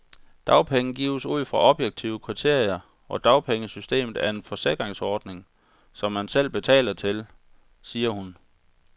Dagpenge gives ud fra objektive kriterier, og dagpengesystemet er en forsikringsordning, som man selv betaler til, siger hun.